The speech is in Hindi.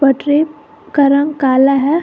पटरी का रंग काला है।